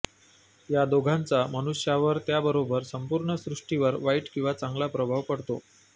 या दोघांचा मनुष्यावर त्याबरोबर संपूर्ण सृष्टीवर वाईट किंवा चांगला प्रभाव पडतो